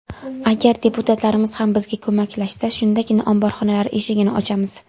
Agar deputatlarimiz ham bizga ko‘maklashsa, shundagina omborxonalar eshigini ochamiz.